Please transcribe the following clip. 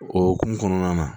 O hokumu kɔnɔna na